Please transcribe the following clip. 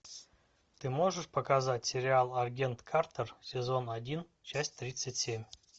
ты можешь показать сериал агент картер сезон один часть тридцать семь